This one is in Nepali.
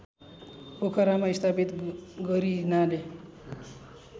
पोखरामा स्थापित गरिनाले